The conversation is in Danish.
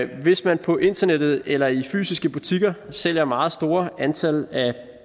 hvis man på internettet eller i fysiske butikker sælger meget store antal